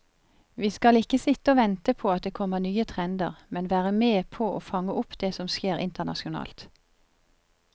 Vi skal ikke sitte og vente på at det kommer nye trender, men være med på å fange opp det som skjer internasjonalt.